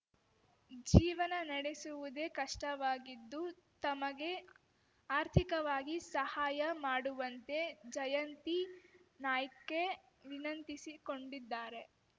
ಜೀವನ ನಡೆಸುವುದೇ ಕಷ್ಟವಾಗಿದ್ದು ತಮಗೆ ಆರ್ಥಿಕವಾಗಿ ಸಹಾಯ ಮಾಡುವಂತೆ ಜಯಂತಿ ನಾಯ್ಕೆ ವಿನಂತಿಸಿಕೊಂಡಿದ್ದಾರೆ